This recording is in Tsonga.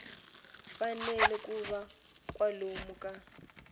fanele ku va kwalomu ka